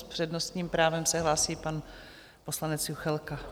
S přednostním právem se hlásí pan poslanec Juchelka.